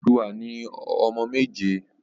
Odùduwà ni ọmọ méje.